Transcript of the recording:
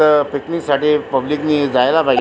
तिथ पिकनीक साठी पब्लिकनी जायला पाहिजे.